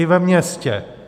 I ve městě.